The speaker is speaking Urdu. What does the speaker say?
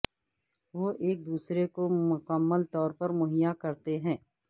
وہ ایک دوسرے کو مکمل طور پر مہیا کرتے ہیں